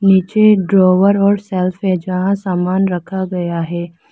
पीछे ड्रावर और सेल्फ है जहां सामान रखा गया है।